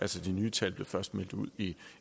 de nye tal blev først meldt ud i